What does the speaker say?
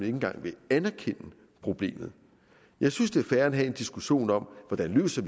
engang vil anerkende problemet jeg synes det er fair at have en diskussion om hvordan vi løser